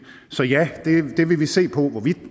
så ja det vil vi se på hvorvidt og